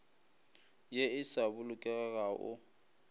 ye e sa bolokegago o